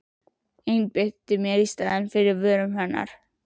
Ég einbeiti mér í staðinn að vörum hennar.